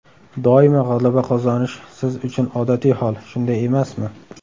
Doimo g‘alaba qozonish siz uchun odatiy hol, shunday emasmi?